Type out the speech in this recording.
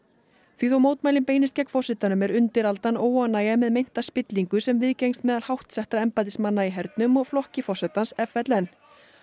því þó mótmælin beinist gegn forsetanum er undiraldan óánægja með meinta spillingu sem viðgengst meðal háttsettra embættismanna í hernum og flokki forsetans f l n